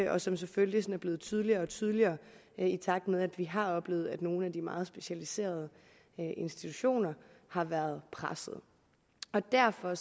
og som selvfølgelig er blevet tydeligere og tydeligere i takt med at vi har oplevet at nogle af de meget specialiserede institutioner har været presset derfor